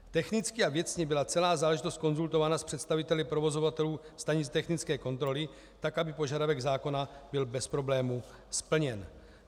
Technicky a věcně byla celá záležitost konzultována s představiteli provozovatelů stanic technické kontroly tak, aby požadavek zákona byl bez problémů splněn.